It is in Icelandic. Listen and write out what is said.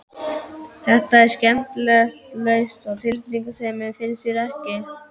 Þetta er skemmtilega laust við tilfinningasemi, finnst þér ekki?